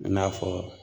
I n'a fɔ